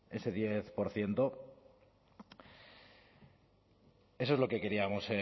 ese diez por ciento eso es lo que queríamos